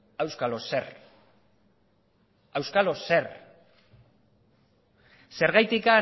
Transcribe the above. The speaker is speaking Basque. auskalo zer zergatik